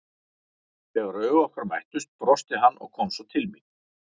Þegar augu okkar mættust brosti hann og kom svo til mín.